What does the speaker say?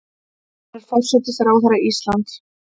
Hún er forsætisráðherra Íslands.